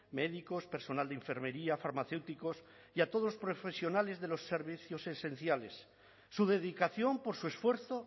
médicos personal de enfermería farmacéuticos y a todos los profesionales de los servicios esenciales su dedicación por su esfuerzo